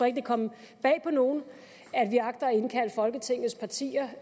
ikke det kommer bag på nogen at vi agter at indkalde folketingets partier